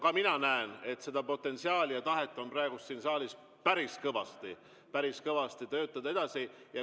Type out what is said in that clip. Ka mina näen, et seda potentsiaali ja tahet on praegu siin saalis päris kõvasti, päris kõvasti, et töötada edasi.